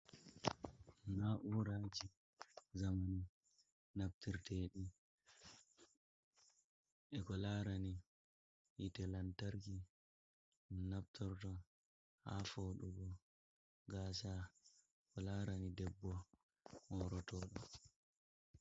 Na,'uraji zamani, naftirteɗi e ko larani hite lantarki, naftorto ha foɗugo gasa ko larani debbo morotoɗo.